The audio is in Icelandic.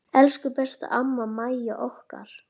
Elsku besta amma Mæja okkar.